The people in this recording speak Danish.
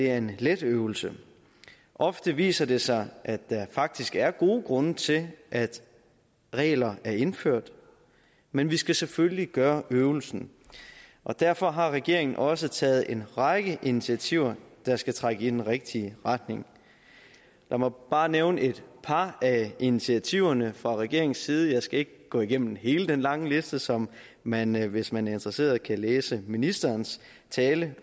er en let øvelse ofte viser det sig at der faktisk er gode grunde til at regler er indført men vi skal selvfølgelig gøre øvelsen og derfor har regeringen også taget en række initiativer der skal trække i den rigtige retning lad mig bare nævne et par af initiativerne fra regeringens side jeg skal ikke gå igennem hele den lange liste som man hvis man er interesseret kan læse i ministerens tale